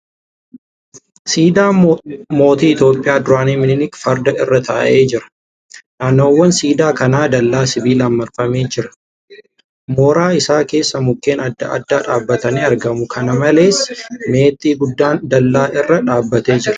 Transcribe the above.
Siidaa mootii Itiyoophiyaa duraanii miniilik farda irra taa'ee jira. Naannawaan siidaa kanaa dallaa sibiilaan marfamee jira. Mooraa isaa keessa mukkeen adda addaa dhaabbatanii argamu. Kana malees, meexxii guddaan dallaa irra dhaabbatee jira.